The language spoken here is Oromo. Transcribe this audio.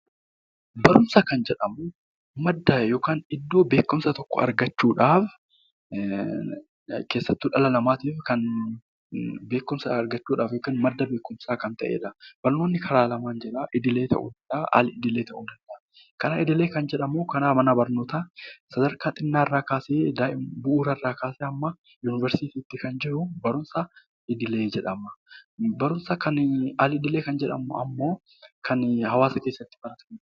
Barumsa kan jedhamu madda yookaan iddoo beekumsa tokko argachuudhaaf keessattuu dhala namaatiif kan madda beekumsaa ta'edha. Barumsi karaa lamaan argama. Idilee yookaan al-idielee ta'uu danda'a. Karaa idlee kan jedhamu karaa mana barnootaa sadarkaa xiqqaa kaasee hamma yuunivarsiitiitti kan cehu barumsa idilee jedhama. Barumsa kan al-idilee kan jedhamu immoo kan hawaasa keessatti baratamudha.